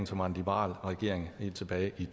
som var en liberal regering helt tilbage i